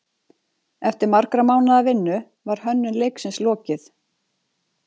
Eftir margra mánaða vinnu var hönnun leiksins lokið.